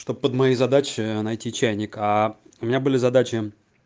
чтоб под моей задачей найти чайника а у меня были задачи